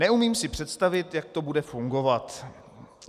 Neumím si představit, jak to bude fungovat.